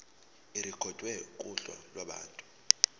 irekhodwe kuhla lwabantu